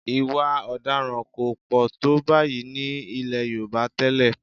Ì̀wà ọ̀daràn kò pọ̀ tó báyìí ní ilẹ̀ Yorùbá tẹ́lẹ̀